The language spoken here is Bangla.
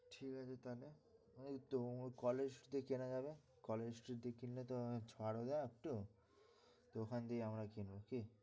ঠিক আছে তাহলে কলেজ স্ট্রিটে দিয়ে কেনা যাবে কলেজ স্ট্রিটে দিয়ে কিনলে তো ছাড় দেয় একটু তো ওখান থেকেই আমরা কিনবো কি?